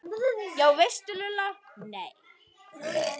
Já veistu Lulla, nei